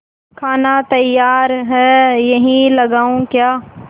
खाना तैयार है यहीं लगाऊँ क्या